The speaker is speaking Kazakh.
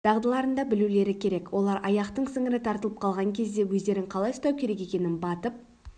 дағдыларында білулері керек олар аяқтың сіңірі тартып қалған кезде өздерін қалай ұстау керек екенін батып